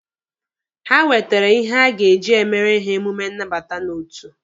Ha wetere ihe a ga-eji emere ha emume nnabata n'otu.